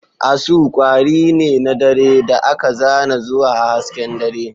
Asu kwari ne na dare da aka zana zuwa hasken dare.